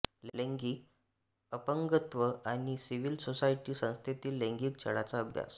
लैंगिक अपंगत्व आणि सिविल सोसायटी संस्थेतील लैंगिक छळाचा अभ्यास